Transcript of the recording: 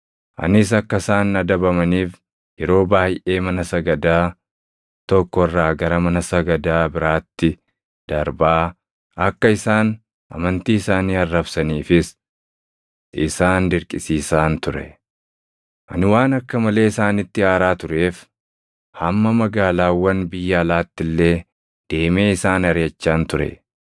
Anis akka isaan adabamaniif yeroo baayʼee mana sagadaa tokko irraa gara mana sagadaa biraatti darbaa, akka isaan amantii isaanii arrabsaniifis isaan dirqisiisaan ture. Ani waan akka malee isaanitti aaraa tureef hamma magaalaawwan biyya alaatti illee deemee isaan ariʼachaan ture.